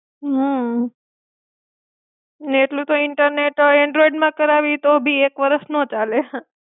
હમ ને એટલું તો ઈન્ટરનેટ એન્ડ્રોઇડમાં કરાવી તો ભી એક વર્ષ નો ચાલે.